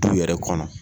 Du yɛrɛ kɔnɔ